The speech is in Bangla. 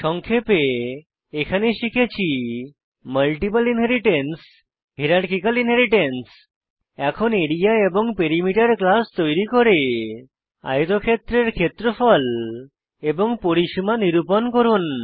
সংক্ষেপে এখানে শিখেছি মাল্টিপল ইনহেরিট্যান্স এবং হিরারকিকাল ইনহেরিট্যান্স এখন আরিয়া এবং পেরিমিটার ক্লাস তৈরী করে আয়তক্ষেত্রের ক্ষেত্রফল এবং পরিসীমা নিরুপন করুন